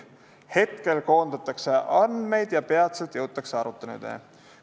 Praegu koondatakse andmeid ja peatselt jõutakse aruteludeni.